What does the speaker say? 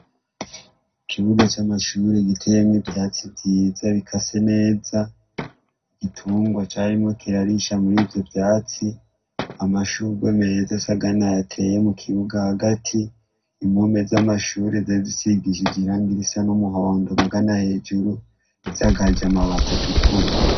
Ikibuga c'amashuri gitemwa ivyatsi vyiza bika se neza igitungwa carimo kirarisha muri vyo vyatsi amashurwe meza sagana yateye mu kibuga hagati impume z'amashuri zizisigishije irangirisa n'umuhondo magana hejuru zagajema batatu kuri.